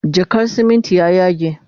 jakar simintin ya yage